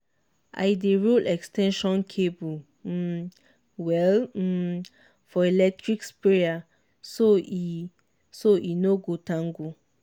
i dey roll ex ten sion cable um well um for electric sprayer so e so e no go tangle.